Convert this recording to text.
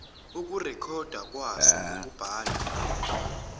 ukurekhodwa kwaso ngokubhala